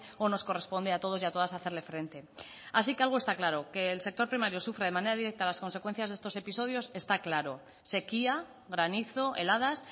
o nos corresponde a todos y a todas hacerle frente así que algo está claro que el sector primario sufre de manera directa las consecuencias de estos episodios está claro sequía granizo heladas